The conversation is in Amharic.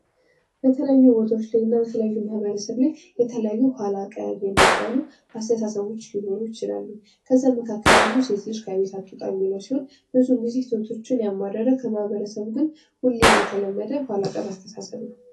በተለያዩ ቦታዎች ላይ እና በተለያዩ ማህበረሰቦች ላይ የተለያዩ ኋላ ቀር የሚባሉ ሊኖሩ ይችላሉ። ከዛም መካከል አንዱ ሴት ልጅ ከቤት አትውጣ የሚልው ሲሆን ብዙን ጊዜ ሴቶችን ያማረረ በማህበረሰቡ ግን ሁሌም የተለመደ ኋላ ቀር አስተሳሰብ ነው።